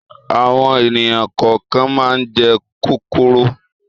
Àwọn ènìyàn kọ̀ọ̀kan máa ń jẹ kòkòrò.